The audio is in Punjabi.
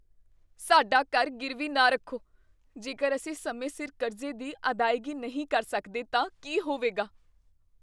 ਸਾਡਾ ਘਰ ਗਿਰਵੀ ਨਾ ਰੱਖੋ। ਜੇਕਰ ਅਸੀਂ ਸਮੇਂ ਸਿਰ ਕਰਜ਼ੇ ਦੀ ਅਦਾਇਗੀ ਨਹੀਂ ਕਰ ਸਕਦੇ ਤਾਂ ਕੀ ਹੋਵੇਗਾ?